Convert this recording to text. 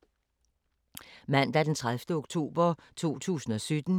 Mandag d. 30. oktober 2017